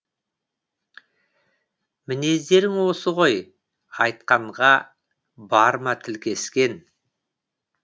мінездерің осы ғой айтқанға барма тіл кескен